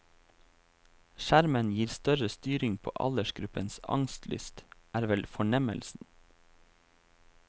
Skjermen gir større styring på aldersgruppens angstlyst, er vel fornemmelsen.